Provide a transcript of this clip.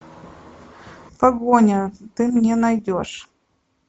погоня ты мне найдешь